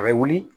A bɛ wuli